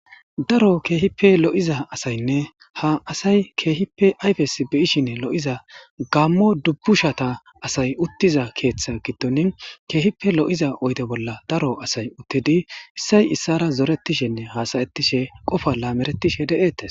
daro keehippe lo7iza asaynne ha asay keehippe ayfes beishinne lo7iza gammo dubbushata asay uttiza keeththa giddoni keehipe lo7iza oyde bolla daro asay uttidi issay issara zoretishenne haasayettishe qofa laameretishe de'ettes